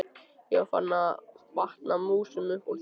Ég var farin að vatna músum upp úr þurru!